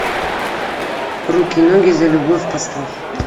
руки ноги за любовь поставь